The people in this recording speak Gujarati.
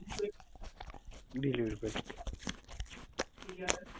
delivery peak